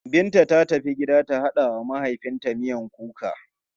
Binta ta tafi gida ta haɗa wa mahaifinta miyan kuka.